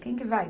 Quem que vai?